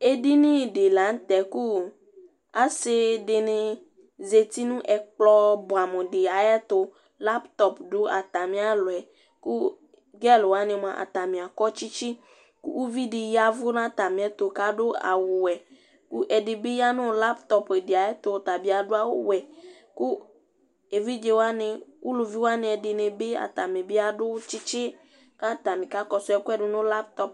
ɛdinidilɑté ɑsidini zɑtinu ɛkplobuɑmudi ɑyɛtu lɑïtof du ɑtamiɑlɔɛ kudiɑluwɑni ɑtani ɑkɔtsitsi ku vidi yɑvunɑ tɑmiɛtu kɑdu ɑwuwéku ɛdibi yɑvu nạtiɛtu kédibiyɑ nulɑyi topdi ɑyɛtu ɔtɑbi ɑdu ɑwuwé kuɛvidzɛwɑni uluviwɑni ɛdinibi ɑtɑnibi ɑdutsitsi kɑtɑni kɑkɔduɛkuɛ dunu lɑïtop